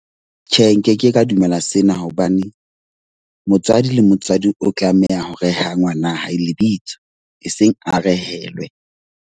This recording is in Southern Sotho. Tjhe, nke ke ka dumela sena hobane motswadi le motswadi o tlameha ho reha ngwana hae lebitso. E seng a rehelwe.